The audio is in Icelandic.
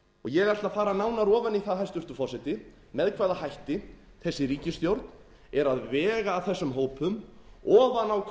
ég ætla að fara nánar ofan í það hæstvirtur forseti með hvaða hætti þessi ríkisstjórn er að vega að þessum hópum ofan á